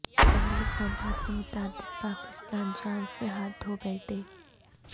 مہلک وبا سے متعدد پاکستان جان سے ہاتھ دھو بیٹھے